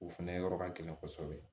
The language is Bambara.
O fɛnɛ yɔrɔ ka gɛlɛn kosɛbɛ